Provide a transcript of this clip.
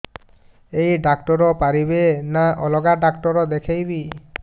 ଏଇ ଡ଼ାକ୍ତର ପାରିବେ ନା ଅଲଗା ଡ଼ାକ୍ତର ଦେଖେଇବି